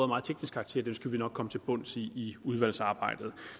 meget teknisk karakter skal vi nok komme til bunds i i udvalgsarbejdet